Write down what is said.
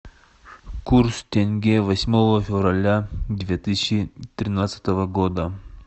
курс тенге восьмого февраля две тысячи тринадцатого года